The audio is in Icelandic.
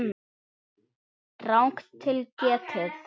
Rangt til getið